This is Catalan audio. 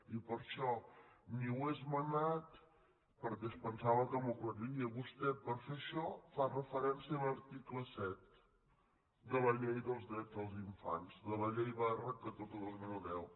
i per això ni ho he esmenat perquè pensava que m’ho aclariria vostè per fer això fa referència a l’article set de la llei del dret dels infants de la llei catorze dos mil deu